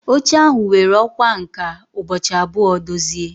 Oche ahụ were ọkwá nkà ụbọchị abụọ dozie.